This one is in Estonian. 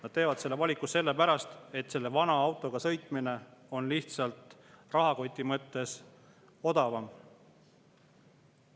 Nad teevad selle valiku sellepärast, et vana autoga sõitmine on lihtsalt rahakoti mõttes odavam.